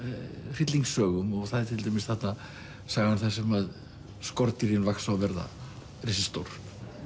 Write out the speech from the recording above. hryllingssögum og það er til dæmis þarna sagan þar sem að skordýrin vaxa og verða risastór